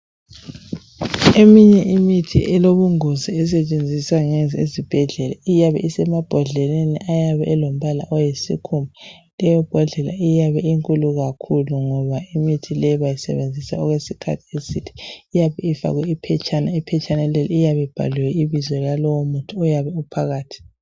Eminye imithi elobungozi esetshenziswa ngeze esibhedlela iyabe isemabhodleleni ayabe elombala oyisikhumba leyo bhodlela iyabe inkulu kakhulu ngoba imithi leyi bayisebenzisa okwesikhathi eside iyabe ifakwe iphetshana, iphetshana leli iyabe libhaliwe ibizo lalowo muthi oyabe uphakathi.